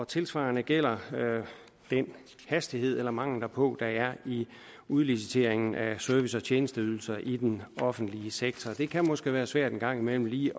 tilsvarende gælder den hastighed eller mangel derpå der er i udliciteringen af service og tjenesteydelser i den offentlige sektor det kan måske være svært en gang imellem lige